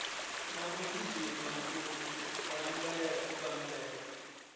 na u gidima u bammbela